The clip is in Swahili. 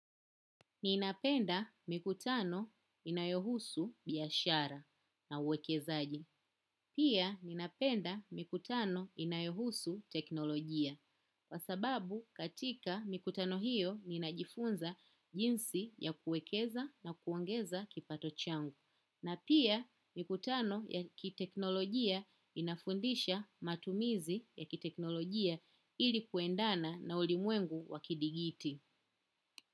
Ni napenda mikutano inayohusu biashara na uwekezaji. Pia, ni napenda mikutano inayohusu teknolojia. Kwa sababu, katika mikutano hiyo, ni najifunza jinsi ya kuekeza na kuongeza kipato changu. Na pia, mikutano ya kiteknolojia inafundisha matumizi ya kiteknolojia ilikuendana na ulimwengu wakidigiti.